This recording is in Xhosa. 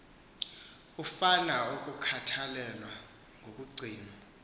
afuna ukukhathalelwa nokugcinwa